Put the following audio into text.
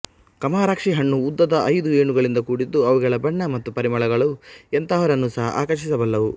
ಕಮರಾಕ್ಷಿ ಹಣ್ಣು ಉದ್ದದ ಐದು ಏಣುಗಳಿಂದ ಕೂಡಿದ್ದು ಅವುಗಳ ಬಣ್ಣ ಮತ್ತು ಪರಿಮಳಗಳು ಎಂತಹವರನ್ನೂ ಸಹ ಆಕರ್ಷಿಸಬಲ್ಲವು